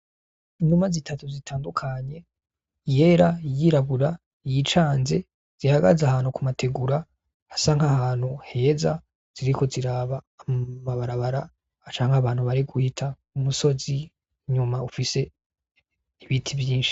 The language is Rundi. Inuma zitatu zitandukanye:iyera, iyirabura, iyicanze zihagaze ahantu ku mategura, hasa nk'ahantu heza, ziriko ziraba amabarabara canke abantu bari guhita, umusozi inyuma ufise ibiti vyinshi.